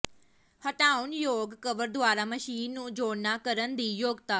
ਹਟਾਉਣਯੋਗ cover ਦੁਆਰਾ machine ਨੂੰ ਜੋੜਨਾ ਕਰਨ ਦੀ ਯੋਗਤਾ